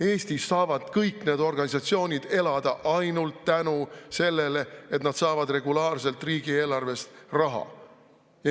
Eestis saavad kõik need organisatsioonid elada ainult tänu sellele, et nad saavad regulaarselt riigieelarvest raha.